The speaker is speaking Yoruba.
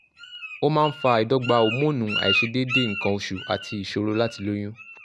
ó máa ń fa àìdọ́gba hómónì àìṣedéédé nǹkan oṣù àti ìṣòro láti lóyún